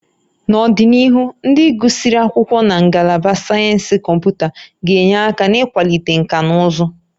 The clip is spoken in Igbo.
N'ọdịnihu, ndị gụsịrị akwụkwọ na Ngalaba Sayensị Kọmputa ga-enye aka n'ịkwalite nkà na ụzụ